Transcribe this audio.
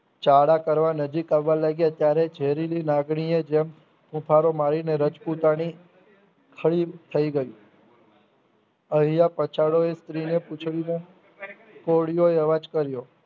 ચાળા કરવા નજીક આવા લાગ્યા ત્યારે ઝેરીલી લાગણી જેમ ફૂફાડોમારી રજપૂતાણી સ્થિર થઇ ગઈ અહીંયા પાચડોયે સ્ત્રીના પૂંછડિયે કોળીઓએ અવાજ કર્યો